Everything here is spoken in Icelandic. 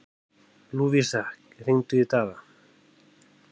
Lúvísa, hringdu í Daða.